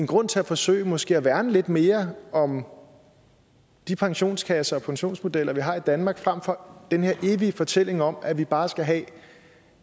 grund til at forsøge måske at værne lidt mere om de pensionskasser og pensionsmodeller vi har i danmark frem for den her evige fortælling om at vi bare skal have